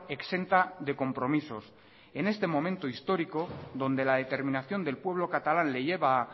exenta de compromisos en este momento histórico donde la determinación del pueblo catalán le lleva